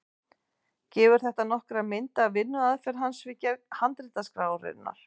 Gefur þetta nokkra mynd af vinnuaðferð hans við gerð handritaskrárinnar.